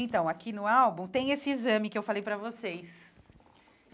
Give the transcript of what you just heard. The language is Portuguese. Então, aqui no álbum tem esse exame que eu falei para vocês.